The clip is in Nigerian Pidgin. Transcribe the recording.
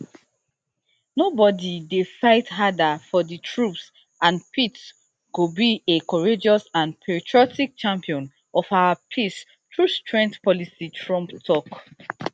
nobody dey fight harder for di troops and pete go be a courageous and patriotic champion of our peace through strength policy trump tok